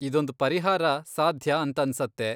ಇದೊಂದ್ ಪರಿಹಾರ ಸಾಧ್ಯ ಅಂತನ್ಸತ್ತೆ.